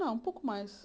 Não, um pouco mais.